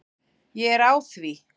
Ég er á því.